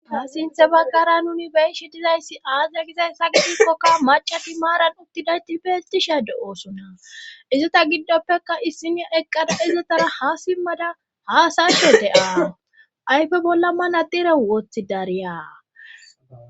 Ha sinthe baggara nuni beyshi dizayssi aazra gizays sagidikkoka macati maaran uttidayti peecisha de7oosonna izota giddoppeka issina eqqada izotara ha simmada haasashe de7aa ayfe bolla manadire woothi dariya.